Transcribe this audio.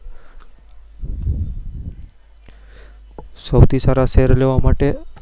સૌથી સારા share લેવા માટે